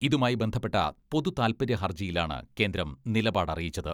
ഇതുമായി ബന്ധപ്പെട്ട പൊതുതാത്പര്യ ഹർജിയിലാണ് കേന്ദ്രം നിലപാട് അറിയിച്ചത്.